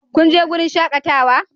Kun je wurin shakatawa?